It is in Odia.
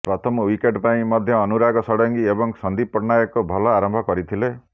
ପ୍ରଥମ ୱିକେଟ୍ ପାଇଁ ମଧ୍ୟ ଅନୁରାଗ ଷଡ଼ଙ୍ଗୀ ଏବଂ ସନ୍ଦୀପ ପଟ୍ଟନାୟକ ଭଲ ଆରମ୍ଭ କରିଥିଲେ